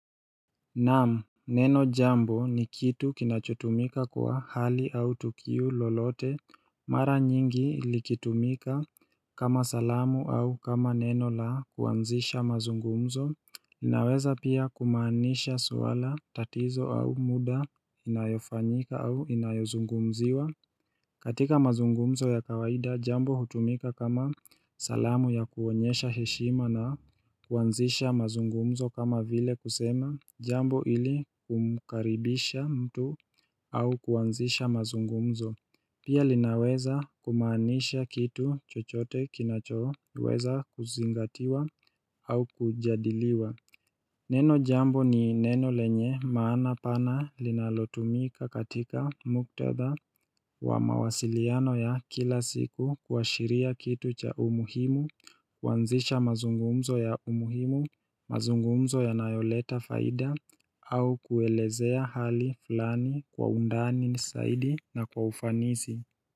Nam Neno jambo ni kitu kinachotumika kwa hali au tukio lolote Mara nyingi likitumika kama salamu au kama neno la kuanzisha mazungumzo inaweza pia kumaanisha suala tatizo au muda inayofanyika au inayozungumziwa katika mazungumzo ya kawaida jambo hutumika kama salamu ya kuonyesha heshima na kuanzisha mazungumzo kama vile kusema Jambo ili kumkaribisha mtu au kuanzisha mazungumzo Pia linaweza kumaanisha kitu chochote kinachoweza kuzingatiwa au kujadiliwa Neno jambo ni neno lenye maana pana linalotumika katika muktadha wa mawasiliano ya kila siku kuashiria kitu cha umuhimu kuanzisha mazungumzo ya umuhimu mazungumzo yanayoleta faida au kuelezea hali fulani kwa undani ni zaidi na kwa ufanizi.